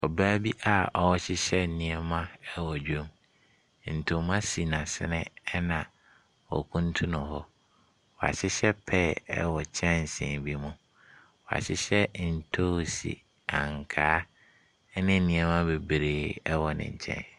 Ɔbaa bi a ɔrehyehyɛ nneɛma wɔ dwam. Ntoma si n'asene na okuntunu hɔ. Wɔahyehyɛ pear ɛwɔ kyɛnsee bi mu. Wɔahyehyɛ ntoosu, ankaa, ne nneɛma bebree wɔ ne nkyɛn.